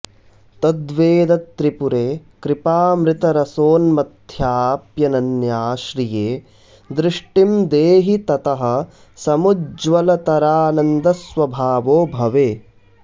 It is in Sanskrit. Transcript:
तद्वेदत्रिपुरे कृपामृतरसोन्मथ्याऽप्यनन्या श्रिये दृष्टिं देहि ततः समुज्ज्वलतरानन्दस्वभावो भवे